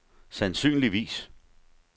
sandsynligvis